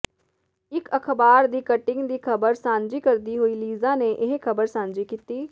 ਇੱਕ ਅਖਬਾਰ ਦੀ ਕਟਿੰਗ ਦੀ ਖ਼ਬਰ ਸਾਂਝੀ ਕਰਦੀ ਹੋਏ ਲੀਜ਼ਾ ਨੇ ਇਹ ਖਬਰ ਸਾਂਝੀ ਕੀਤੀ